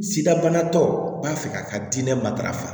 Sida banatɔ u b'a fɛ k'a ka diinɛ matarafa